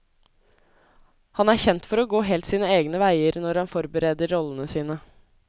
Han er kjent for å gå helt sine egne veier når han forbereder rollene sine.